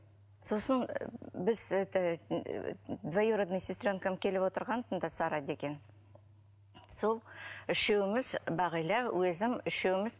сосын біз это двоюродной сесренкам келіп отырған мұнда сара деген сол үшеуіміз бағила өзім үшеуміз